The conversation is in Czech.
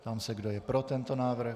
Ptám se, kdo je pro tento návrh?